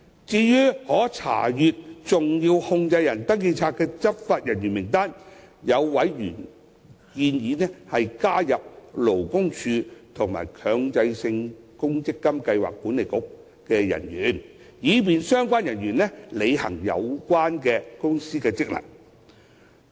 至於可查閱登記冊的執法人員名單，有委員建議加入勞工處和強制性公積金計劃管理局的人員，以便相關人員履行有關公司的職能。